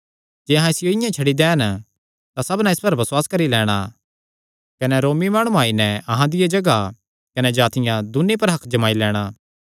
जे अहां इसियो इआं ई छड्डी दैन तां सबना इस पर बसुआस करी लैणां कने रोमी माणुआं आई नैं अहां दिया जगाह कने जातिआं दून्नी पर हक्क जमाई लैणां